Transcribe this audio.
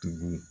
Tugun